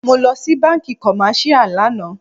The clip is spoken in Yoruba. Mo lọ sí bánkì commercial lànà.